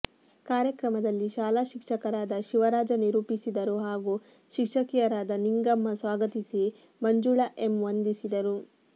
ಕಾರ್ಯಕ್ರಮದಲ್ಲಿ ಶಾಲಾ ಶಿಕ್ಷಕರಾದ ಶಿವರಾಜ ನಿರೂಪಿಸಿದರು ಹಾಗೂ ಶಿಕ್ಷಕಿಯರಾದ ನಿಂಗಮ್ಮ ಸ್ವಾಗತಿಸಿ ಮಂಜುಳಾ ಎಮ್ ವಂದಿಸಿದರು